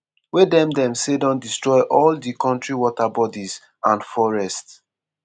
wey dem dem say don destroy all di kontri waterbodies and forests.